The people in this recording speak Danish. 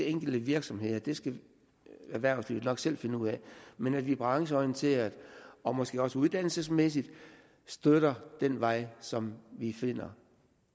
enkelte virksomheder det skal erhvervslivet nok selv finde ud af men at vi brancheorienteret og måske også uddannelsesmæssigt støtter den vej som vi finder